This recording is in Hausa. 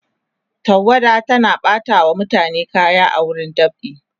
tawada tana ɓata wa mutane kaya a wurin dab'i